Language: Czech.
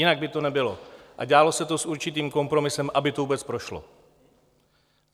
Jinak by to nebylo a dělalo se to s určitým kompromisem, aby to vůbec prošlo.